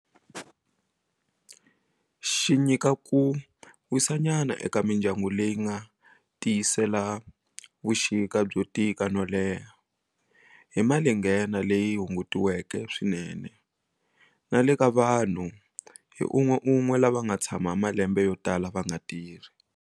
Xi nyika ku wisanyana eka mindyangu leyi yi nga tiyisela vuxika byo tika no leha hi malinghena leyi hungutiweke swinene, na le ka vanhu hi un'weun'we lava nga tshama malembe yo tala va nga tirhi.